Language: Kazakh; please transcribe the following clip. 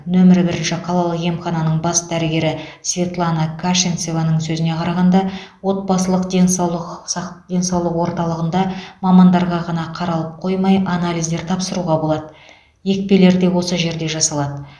нөмірі бірінші қалалық емхананың бас дәрігері светлана кашенцеваның сөзіне қарағанда отбасылық денсаулық сақ денсаулық орталығында мамандарға ғана қаралып қоймай анализдер тапсыруға болады екпелер де осы жерде жасалады